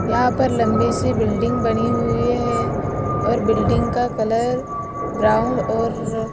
यहां पर लंबी सी बिल्डिंग बनी हुई है और बिल्डिंग का कलर ब्राउन और--